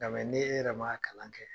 Nga ne yɛrɛ man kalan kɛ.